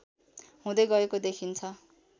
हुँदै गएको देखिन्छ